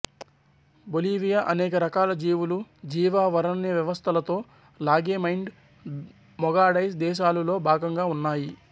Bolivia అనేక రకాల జీవులు జీవావరణవ్యవస్థలతో లాగేమైండ్డ్ మెగాడైస్ దేశాలులో భాగంగా ఉన్నాయి